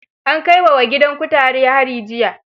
An kai wa wa gidan kutare hari jiya.